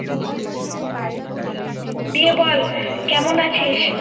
দিয়ে বল কেমন আছিস?